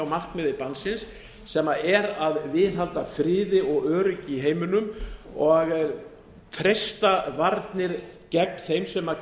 markmiði bannsins sem er að viðhalda friði og öryggi í heiminum og treysta varnir gegn þeim sem